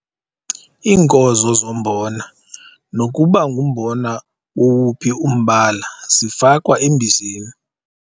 Iinkozo zombona nokuba ngumbona wowuphi umbala zifakwa embizeni.